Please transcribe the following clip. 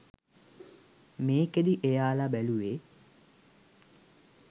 මේකෙදි එයාලා බැලූවේ